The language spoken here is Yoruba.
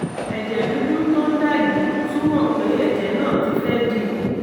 ẹ̀jẹ̀ dúdú tó ń dà yìí túmọ̀ pé ẹ̀jẹ̀ náà ti fẹ́ dì